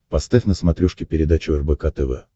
поставь на смотрешке передачу рбк тв